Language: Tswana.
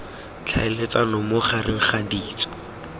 tlhaeletsano mo gareg ga ditso